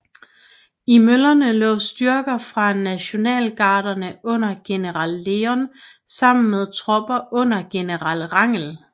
I møllerne lå styrker fra Nationalgarderne under general Leon sammen med tropper under general Rangel